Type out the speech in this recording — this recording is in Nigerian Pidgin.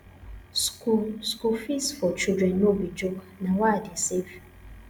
school school fees for children no be joke na why i dey save